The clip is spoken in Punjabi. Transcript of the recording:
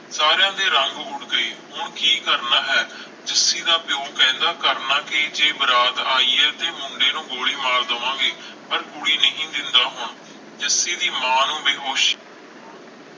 ਸਾਰਿਆਂ ਦੇ ਰੰਗ ਉਡ ਗਏ ਹੁਣ ਕਿ ਕਰਨਾ ਹੈ ਜੱਸੀ ਦਾ ਪਿਓ ਕਹਿੰਦਾ ਕਰਨਾ ਕੀ ਜੇ ਬਰਾਤ ਆਈ ਹੈ ਤੇ ਮੁੰਡੇ ਨੂੰ ਗੋਲੀ ਮਾਰ ਦਵਾਂਗੇ ਪਰ ਕੁੜੀ ਨਹੀਂ ਮਿਲਦਾ ਹੁਣ ਜੱਸੀ ਦੇ ਮਾਂ ਨੂੰ ਬੇਹੋਸ਼